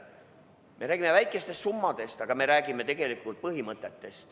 Me räägime väikestest summadest, aga asi on põhimõtetes.